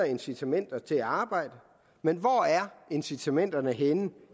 incitamenter til arbejde men hvor er incitamenterne henne